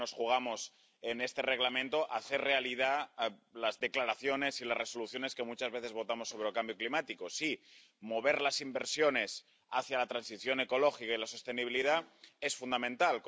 Creo que en este Reglamento nos jugamos hacer realidad las declaraciones y las resoluciones que muchas veces votamos sobre el cambio climático. Sí, mover las inversiones hacia la transición ecológica y la sostenibilidad es fundamental